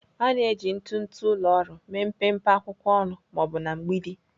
A na-eji ntụtụ ụlọ ọrụ mee mpempe akwụkwọ ọnụ ma ọ bụ na mgbidi.